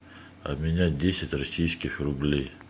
обменять десять российских рублей